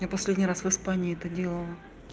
я последний раз в испании это делала